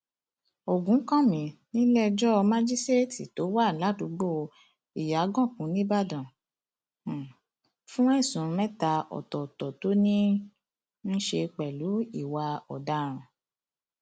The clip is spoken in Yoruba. ògúnkànmí níléẹjọ májíṣẹẹtì tó wà ládùúgbò ìyàgànkù níìbàdàn um fún ẹsùn mẹta ọtọọtọ tó ní í um ṣe pẹlú ìwà ọdaràn